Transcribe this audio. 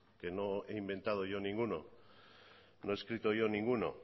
que no he inventado yo ninguno no he escrito yo ninguno